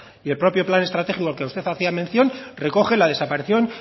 el propio plan estratégico al que usted hacía mención recoge la desaparición